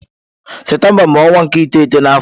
Septemba bu onwa nke iteghete na afo.